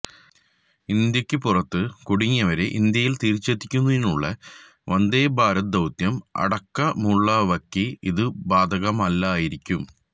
ഇന്ത്യക്ക് പുറത്ത് കുടുങ്ങിയവരെ ഇന്ത്യയില് തിരിച്ചെത്തിക്കുന്നതിനുള്ള വന്ദേഭാരത് ദൌത്യം അടക്കമുള്ളവക്ക് ഇത് ബാധകമല്ലായിരിക്കും